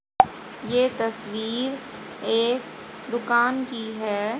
ये तस्वीर एक दुकान की है।